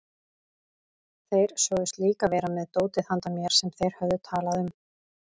Þeir sögðust líka vera með dótið handa mér sem þeir höfðu talað um.